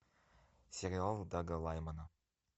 сериал дага лаймана